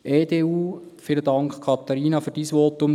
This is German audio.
EDU: Vielen Dank, Katharina, für dein Votum.